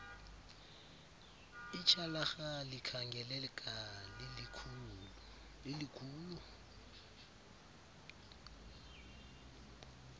ityhalarha likhangeleka lilikhulu